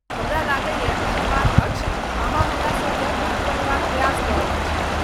हमरा लगैयै, श्रीमान अक्ष, अहाँ हमरा सबकेँ मूर्ख बनेबाक प्रयास कऽ रहल छी।